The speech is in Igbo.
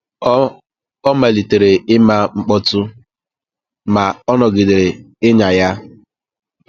Ọ Ọ malitere ịma mkpọtụ, ma ọ nọgidere ịnya ya.